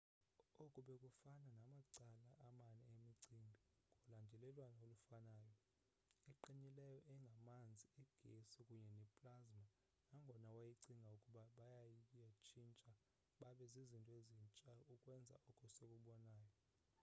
oku bekufana namacala amane emicimbi ngolandelelwano olufanayo: eqinileyo engamanzi igesi kunye neplasma nangona wayecinga ukuba bayatshintsha babe zizinto ezintsha ukwenza oko sikubonayo